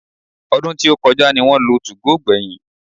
Ọdún tí ó kọjá ní wọ́n lo 2go gbẹ̀yìn